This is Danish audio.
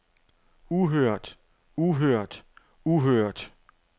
uhørt uhørt uhørt